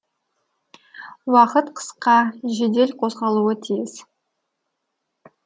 уақыт қысқа жедел қозғалуы тиіс